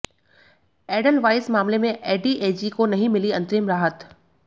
Edelweiss मामले में ADAG को नहीं मिली अंतरिम राहत